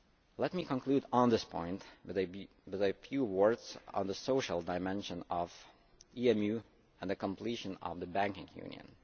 Let me conclude on this point with a few words on the social dimension of EMU and the completion of the banking union.